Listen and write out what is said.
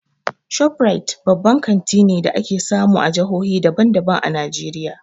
ShopRite babban kanti ne da ake samu a jahohi daban daban a Najeriya.